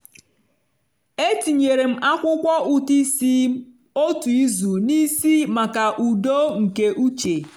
etinyere m akwụkwọ ụtụ isi m otu izu n'isi maka udo nke uche.